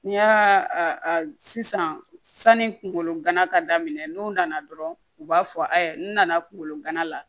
N'i y'a sisan sani kunkolo gana ka daminɛ n'u nana dɔrɔn u b'a fɔ ayi n nana kungolo gana la